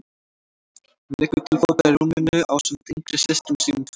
Hún liggur til fóta í rúminu ásamt yngri systrum sínum tveim.